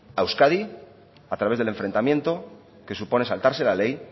a euskadi a través del enfrentamiento que supone saltarse la ley